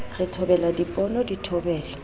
re thobela diponono di thobelwa